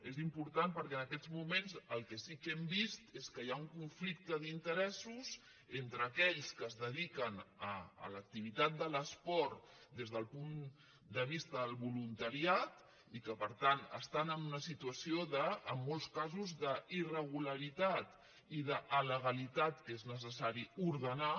és important perquè en aquests moments el que sí que hem vist és que hi ha un conflicte d’interessos entre aquells que es dediquen a l’activitat de l’esport des del punt de vista del voluntariat i que per tant estan en una situació en molts casos d’irregularitat i d’alegalitat que és necessari ordenar